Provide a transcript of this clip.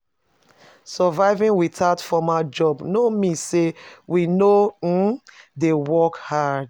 Surviving without formal job no mean sey we no um dey work hard.